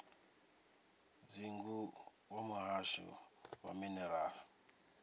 dzingu wa muhasho wa minerala